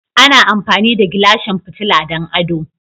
Ana amfani da Gilashin fitila don ado.